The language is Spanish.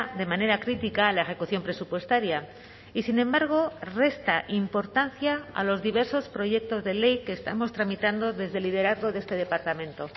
de manera crítica la ejecución presupuestaria y sin embargo resta importancia a los diversos proyectos de ley que estamos tramitando desde el liderazgo de este departamento